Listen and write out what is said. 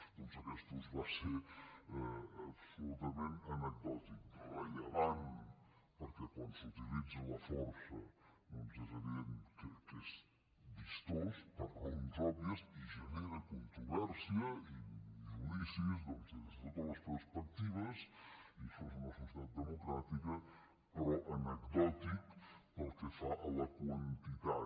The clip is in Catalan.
doncs aquest ús va ser absolutament anecdòtic rellevant perquè quan s’utilitza la força és evident que és vistós per raons òbvies i genera controvèrsia i judicis des de totes les perspectives i això és una societat democràtica però anecdòtic pel que fa a la quantitat